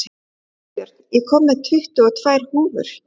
Ísbjörn, ég kom með tuttugu og tvær húfur!